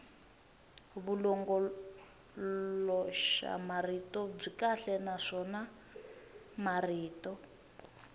vulongoloxamarito byi kahle naswona marito